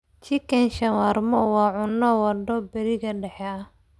Chicken shawarma waa cunto waddo bariga dhexe ah.